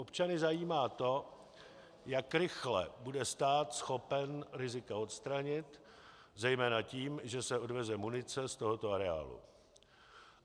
Občany zajímá to, jak rychle bude stát schopen rizika odstranit, zejména tím, že se odveze munice z tohoto areálu.